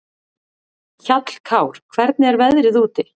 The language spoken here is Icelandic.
Hjallkár, hvernig er veðrið úti?